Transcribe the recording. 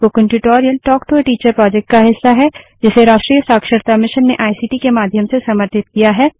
spoken tutorial talk to a teacher project का हिस्सा है जिसे राष्ट्रीय शिक्षा मिशन ने आईसीटी के माध्यम से समर्थित किया है